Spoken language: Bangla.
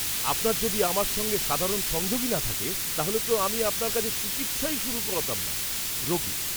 আপনার যদি আমার সঙ্গে সাধারণ সংযোগই না থাকে, তাহলে তো আমি আপনার কাছে চিকিৎসাই শুরু করাতাম না। রোগী